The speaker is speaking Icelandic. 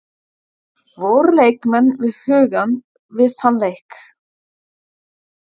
Voru leikmenn við hugann við þann leik?